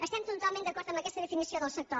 estem totalment d’acord amb aquesta definició del sector